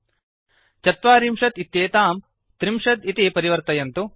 ४० चत्वारिंशत् इत्येतां ३० त्रिंशत् प्रति परिवर्तयन्तु